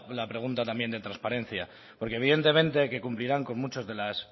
la pregunta también de transparencia porque evidentemente que cumplirán con muchas de las